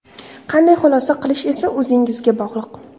Qanday xulosa qilish esa o‘zingizga bog‘liq.